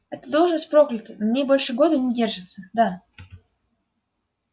эта должность проклята на ней больше года не держатся да